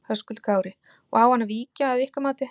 Höskuldur Kári: Og á hann að víkja að ykkar mati?